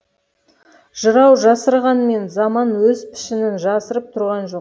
жырау жасырғанмен заман өз пішінін жасырып тұрған жоқ